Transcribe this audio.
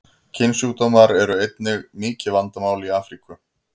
Kynsjúkdómar eru einnig mikið vandamál í Afríku.